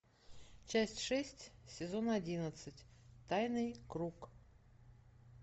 часть шесть сезон одиннадцать тайный круг